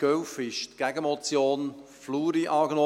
2011 wurde die Gegenmotion Fluri angenommen;